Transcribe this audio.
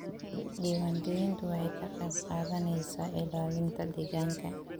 Diiwaangelintu waxay ka qayb qaadanaysaa ilaalinta deegaanka.